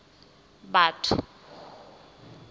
batho